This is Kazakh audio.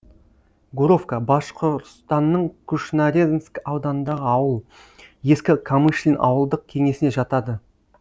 гуровка башқұртстанның кушнаренк ауданындағы ауыл ескі камышлин ауылдық кеңесіне жатады